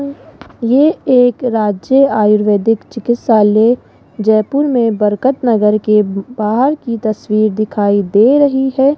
ये एक राज्य आयुर्वेदिक चिकित्सालय जयपुर में बरकत नगर के बाहर की तस्वीर दिखाई दे रही है।